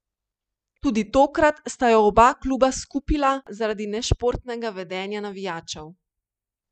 Tudi tokrat sta jo oba kluba skupila zaradi nešportnega vedenja navijačev.